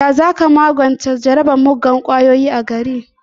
Ya za ka magance jarabar muggan ƙwayoyi a gari?